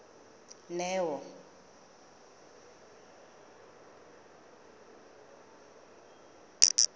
neo